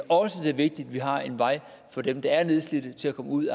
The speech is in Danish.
også det er vigtigt at vi har en vej for dem der er nedslidte til at komme ud